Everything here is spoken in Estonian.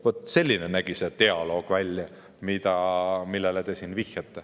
" Vaat selline nägi välja see dialoog, millele te siin vihjate.